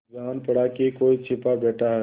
जान पड़ा कि कोई छिपा बैठा है